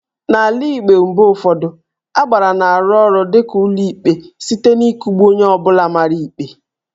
N'ala Igbo, mgbe ụfọdụ Agbara na-arụ ọrụ dịka ụlọikpe site n'ịkụgbu onye ọ bụla mara ikpe